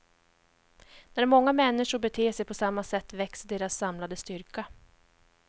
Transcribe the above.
När många människor beter sig på samma sätt växer deras samlade styrka.